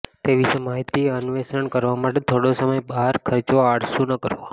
તે વિશે માહિતી અન્વેષણ કરવા માટે થોડો સમય બહાર ખર્ચવા આળસુ ન કરો